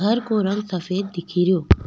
घर को रंग सफ़ेद दिखे रो।